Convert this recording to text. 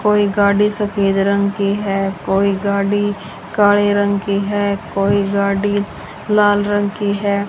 कोई गाड़ी सफेद रंग की है कोई गाडी काले रंग की है कोई गाडी लाल रंग की है।